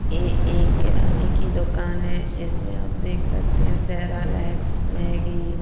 यह एक किराने की दुकान है जिसमें आप देख सकते हैं ।